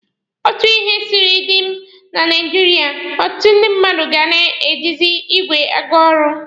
Otu ihe siri dịrị na Naijiria, ọtụtụ ndị mmadụ ga na-ejizi igwe aga ọrụ.